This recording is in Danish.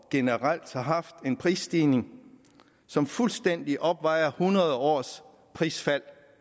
generelt har haft en prisstigning som fuldstændig opvejer hundrede års prisfald